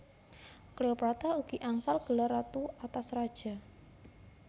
Cleopatra ugi angsal gelar Ratu atas Raja